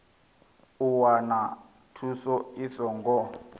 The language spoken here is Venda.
u wana thuso i songo